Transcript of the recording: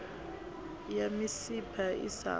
ya misipha i sa khwa